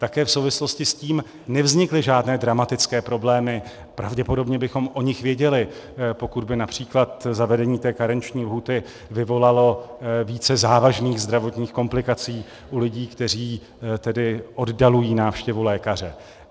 Také v souvislosti s tím nevznikly žádné dramatické problémy, pravděpodobně bychom o nich věděli, pokud by například zavedení té karenční lhůty vyvolalo více závažných zdravotních komplikací u lidí, kteří tedy oddalují návštěvu lékaře.